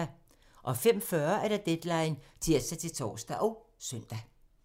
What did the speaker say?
05:40: Deadline (tir-tor og søn)